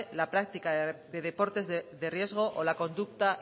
la práctica de deportes de riesgo o la conducta